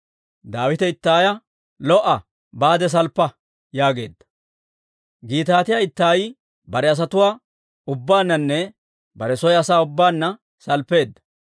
Daawite Ittaaya, «Lo"a! Baade salppa» yaageedda; Gitaatiyaa Ittaayi bare asatuwaa ubbaananne bare soo asaa ubbaanna salppeedda.